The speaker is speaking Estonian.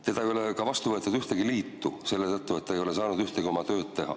Teda ei ole ka vastu võetud ühtegi liitu selle tõttu, et ta ei ole saanud ühtegi tööd teha.